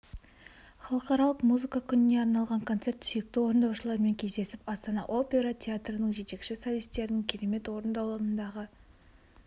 халықаралық музыка күніне арналған концерт сүйікті орындаушылармен кездесіп астана опера театрының жетекші солистерінің керемет орындауындағы